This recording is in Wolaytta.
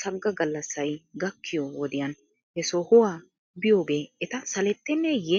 sagga gallassay gakkiyoo wodiyan he sohuwaa biyoogee eta salettenneeyye?